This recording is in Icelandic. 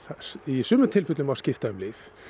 í sumum tilfellum má skipta um lyf